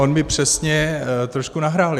On mi přesně trošku nahrál.